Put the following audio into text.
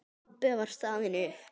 Pabbi var staðinn upp.